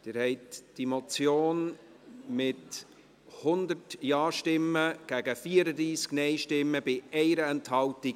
Sie haben die Motion abgeschrieben, mit 100 Ja- gegen 34 Nein-Stimmen bei 1 Enthaltung.